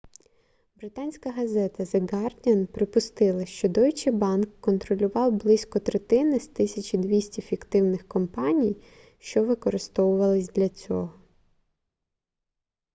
британська газета the guardian припустила що deutsche bank контролював близько третини з 1200 фіктивних компаній що використовувались для цього